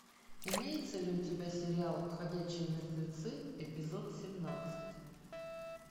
имеется ли у тебя сериал ходячие мертвецы эпизод семнадцать